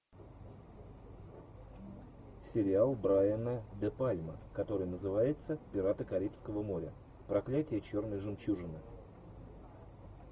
сериал брайана де пальма который называется пираты карибского моря проклятие черной жемчужины